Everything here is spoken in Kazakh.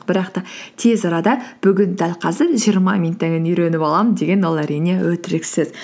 бірақ та тез арада бүгін дәл қазір жиырма минуттан кейін үйреніп аламын деген ол әрине өтірік сөз